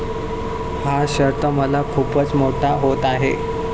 हा शर्ट मला खूपच मोठा होत आहे.